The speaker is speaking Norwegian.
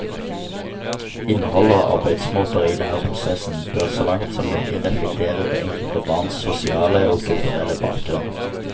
Innhold og arbeidsmåter i læreprosessen bør så langt som mulig reflektere det enkelte barns sosiale og kulturelle bakgrunn.